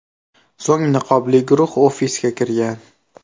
So‘ng niqobli guruh ofisga kirgan.